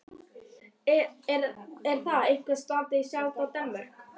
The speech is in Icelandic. Er það eitthvað tengt Sjálandi í Danmörku?